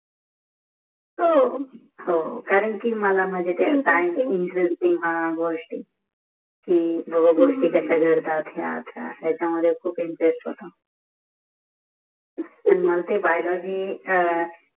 हो हो कारण कि मला माझ्या सायन्स च्या गोष्टी ची गोष्टी कि बाबा गोष्टी कश्या घडतात याच्यामधे खुप इंटरेस्ट होता मंग ते अ